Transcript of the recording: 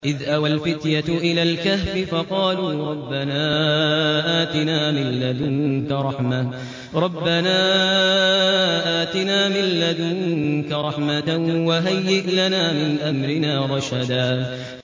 إِذْ أَوَى الْفِتْيَةُ إِلَى الْكَهْفِ فَقَالُوا رَبَّنَا آتِنَا مِن لَّدُنكَ رَحْمَةً وَهَيِّئْ لَنَا مِنْ أَمْرِنَا رَشَدًا